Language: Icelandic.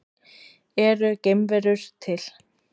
Eru geimverur til?